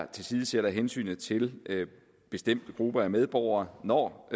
tilsidesætter hensynet til bestemte grupper af medborgere når